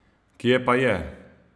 Kje pa je?